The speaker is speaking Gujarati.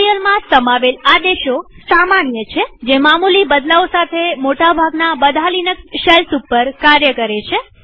આ ટ્યુ્ટોરીઅલમાં સમાવેલ આદેશો સામાન્ય છેજે મામુલી બદલાવ સાથે મોટા ભાગના બધા લિનક્સ શેલ્સ ઉપર કાર્ય કરે છે